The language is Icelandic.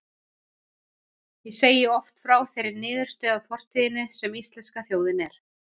Ég segi oft frá þeirri niðurstöðu af fortíðinni, sem íslenska þjóðin er.